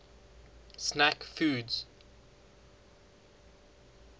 snack foods